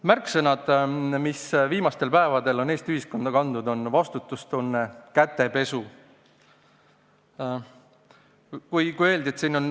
Märksõnad, mis viimastel päevadel on Eesti ühiskonda kandnud, on "vastutustunne" ja "kätepesu".